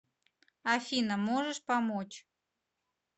афина можешь помочь